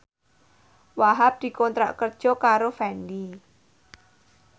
Wahhab dikontrak kerja karo Fendi